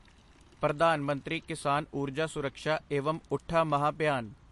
Pradhan Mantri Kisan Urja Suraksha evam Utthan Mahabhiyan